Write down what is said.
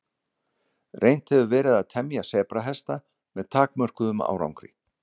Reynt hefur verið að temja sebrahesta með takmörkuðum árangri.